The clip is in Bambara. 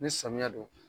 Ni samiya don